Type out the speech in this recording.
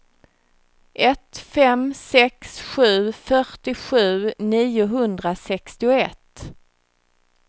ett fem sex sju fyrtiosju niohundrasextioett